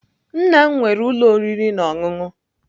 Nna m nwere ụlọ oriri na ọṅụṅụ.